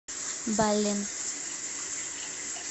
баллин